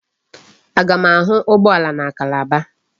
Aga m ahụ ụgbọala na Calabar?